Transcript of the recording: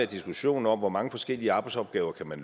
diskussion om hvor mange forskellige arbejdsopgaver man